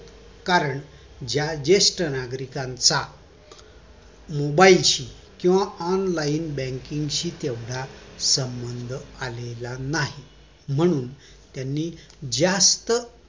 कारण जेष्ठ नागरिकांचा mobile शी किंवा online banking शी तेवढा संबंध आलेला नाही म्हणून त्यानि जास्त